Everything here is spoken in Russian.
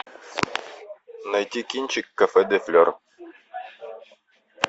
найти кинчик кафе де флор